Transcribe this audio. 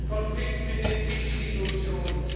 Herren! Ich will keinen Konflikt mit den Institutionen.